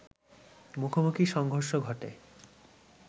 মুখোমুখি সংঘর্ষ ঘটে